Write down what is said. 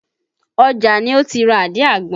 Ọjà ni ó ti ra àdí àgbọn